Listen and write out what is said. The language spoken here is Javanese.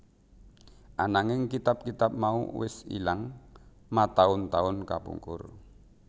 Ananging kitab kitab mau wis ilang mataun taun kapungkur